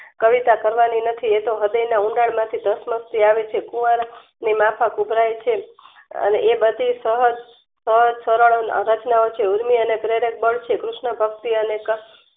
કવિતા કરવાની નથી એતો હૃદયના ઊંડાણ માંથી ધસમસતી આવે છે કુવાન ની માફક ઉભરાય છે. અને એબઘી સહજ સહજ સરળ રચનાઓ છે. ઊર્મિ અને પ્રેરક બળ છે. કૃષ્ણ ભક્તિ અને ક